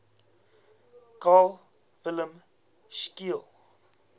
carl wilhelm scheele